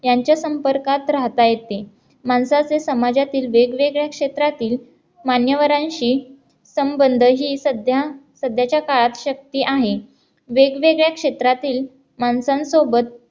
यांच्या संपर्कात राहता येते माणसाचे समाजातील वेगवेगळ्या क्षेत्रातील मान्यवरांशी संबंध ही सध्या सध्याच्या काळात शक्ती आहे वेगवेगळ्या क्षेत्रातील माणसांसोबत